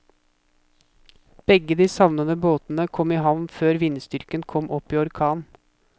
Begge de savnede båtene kom i havn før vindstyrken kom opp i orkan.